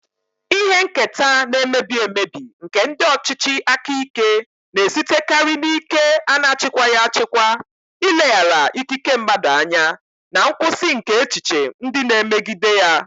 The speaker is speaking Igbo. Ihe nketa na-emebi emebi nke ndị ọchịchị aka ike na-esitekarị n'ike a na-achịkwaghị achịkwa, ileghara ikike mmadụ anya, na nkwụsị nke echiche ndị na-emegide ya.